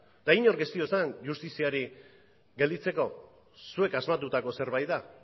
eta inork ez dio esan justiziari gelditzeko zuek asmatutako zerbait da